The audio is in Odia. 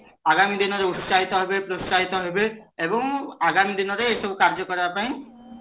ଆଗାମୀ ଦିନରେ ଉଶ୍ଚାହିତ ହେବେ ଏବଂ ଆଗାମୀ ଦିନରେ ଏଇ ସବୁ କାର୍ଯ୍ୟ କରିବା ପାଇଁ